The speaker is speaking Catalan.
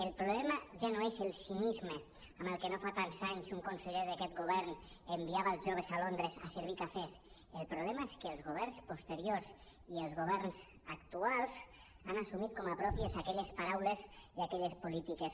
el problema ja no és el cinisme amb el que no fa tants anys un conseller d’aquest govern enviava els joves a londres a servir cafès el problema és que els governs posteriors i els governs actuals han assumit com a pròpies aquelles paraules i aquelles polítiques